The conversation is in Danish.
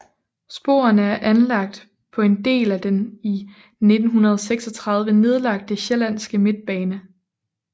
Sporene er anlagt på en del af den i 1936 nedlagte Sjællandske Midtbane